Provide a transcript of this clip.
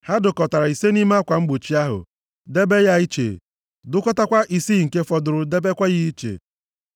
Ha dụkọtara ise nʼime akwa mgbochi ahụ, debe ya iche. Dụkọtakwa isii nke fọdụrụ debekwa ya iche.